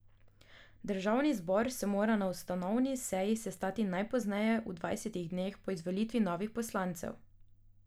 Državni zbor se mora na ustanovni seji sestati najpozneje v dvajsetih dneh po izvolitvi novih poslancev.